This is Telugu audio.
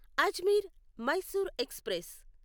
అజ్మీర్ మైసూర్ ఎక్స్ప్రెస్